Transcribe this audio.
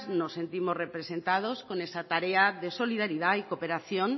no sentimos representados con esa tarea de solidaridad y cooperación